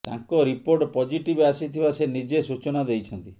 ତାଙ୍କ report positive ଆସିଥିବା ସେ ନିଜେ ସୂଚନା ଦେଇଛନ୍ତି